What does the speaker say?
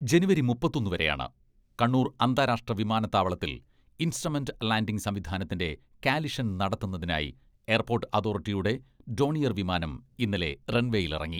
ജനുവരി മുപ്പത്തൊന്ന് വരെയാണ്. കണ്ണൂർ അന്താരാഷ്ട്ര വിമാനത്താവളത്തിൽ ഇൻസ്ട്രമെന്റ് ലാന്റിംഗ് സംവിധാനത്തിന്റെ കാലിഷൻ നടത്തുന്നതിനായി എയർപോട്ട് അതോറിറ്റിയുടെ ഡോണിയർ വിമാനം ഇന്നലെ റൺവേയിലിറങ്ങി.